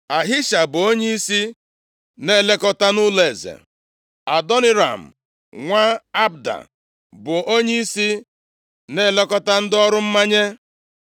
Ahisha, bụ onyeisi na-elekọta nʼụlọeze. Adoniram nwa Abda bụ onyeisi na-elekọta ndị ọrụ mmanye.